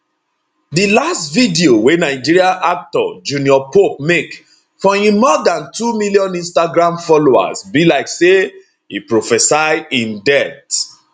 di last video wey nigeria actor junior pope make for im more dan two million instagram followers be like say e prophesy im death